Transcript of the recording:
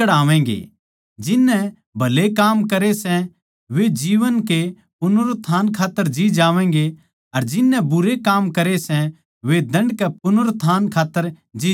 जिन नै भले काम करे सै वे जीवन कै पुनरुत्थान खात्तर जी जावैंगे अर जिन नै बुरे काम करे सै वे दण्ड के पुनरुत्थान खात्तर जी जावैंगे